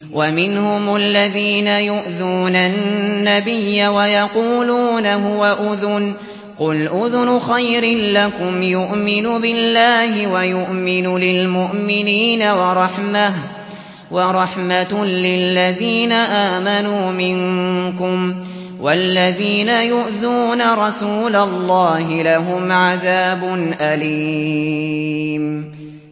وَمِنْهُمُ الَّذِينَ يُؤْذُونَ النَّبِيَّ وَيَقُولُونَ هُوَ أُذُنٌ ۚ قُلْ أُذُنُ خَيْرٍ لَّكُمْ يُؤْمِنُ بِاللَّهِ وَيُؤْمِنُ لِلْمُؤْمِنِينَ وَرَحْمَةٌ لِّلَّذِينَ آمَنُوا مِنكُمْ ۚ وَالَّذِينَ يُؤْذُونَ رَسُولَ اللَّهِ لَهُمْ عَذَابٌ أَلِيمٌ